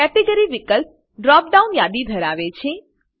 category વિકલ્પ drop down લીસ્ટની યાદી ધરાવે છે